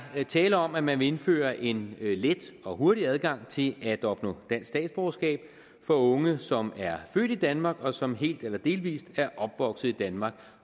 tale om at man vil indføre en let og hurtig adgang til at opnå dansk statsborgerskab for unge som er født i danmark og som helt eller delvis er opvokset i danmark